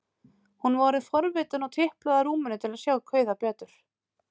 Hún var orðin forvitin og tiplaði að rúminu til að sjá kauða betur.